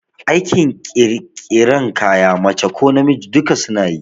Aikin ƙirƙiran kaya mace ko namiji duka suna yi